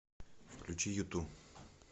включи юту